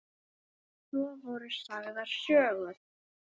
Svo voru sagðar sögur.